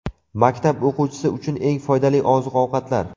Maktab o‘quvchisi uchun eng foydali oziq-ovqatlar.